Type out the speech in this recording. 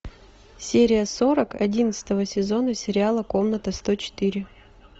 серия сорок одиннадцатого сезона сериала комната сто четыре